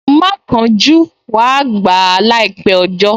Má kánjú, wàá gbà á láìpẹ́ ọjọ́